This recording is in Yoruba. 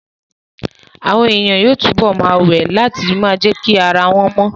Àwọn èèyàn yóò túbọ̀ ma wẹ̀ láti ma jẹ́kí ara wọ́n mọ